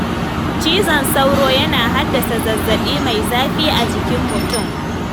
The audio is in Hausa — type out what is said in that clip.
Cizon sauro yana haddasa zazzaɓi mai zafi a jikin mutum.